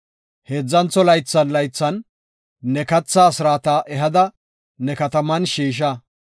Heedzantho laythan laythan ne katha asraata ehada ne kataman shiisha.